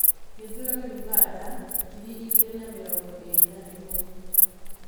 Gĩthurano Ũganda ngiri igĩrĩ na mĩrongo ĩrĩ na ĩmwe: